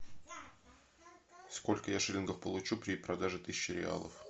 сколько я шиллингов получу при продаже тысячи реалов